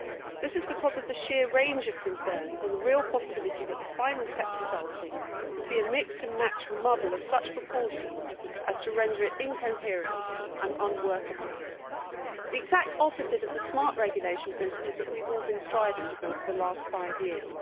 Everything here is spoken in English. This is because of the sheer range of concerns and the real possibility that the final text which resulted would be a mixed and matched muddle of such proportions as to render it incoherent and unworkable the exact opposite of the smart regulation principles that we have all been striving for over the last five years.